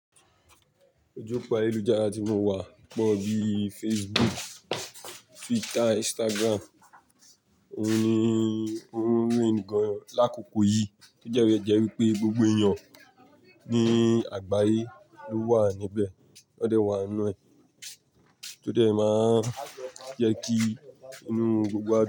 Ojú òpó ayélujára tí mo wà pọ̀ bíi Facebook, Twitter, Instagram. Ó ní, ó wu ń gan lákòkò yìí, to jẹ́ wípé gbogbo èèyàn ní àgbáyé ló wà níbẹ̀. Ó dẹ̀ wà nínú ẹ̀, tó dẹ̀ máa ń jẹ́ kí inú gbogbo wá dùn.